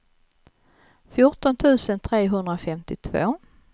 fjorton tusen trehundrafemtiotvå